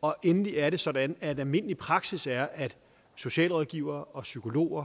og endelig er det sådan at almindelig praksis er at socialrådgivere og psykologer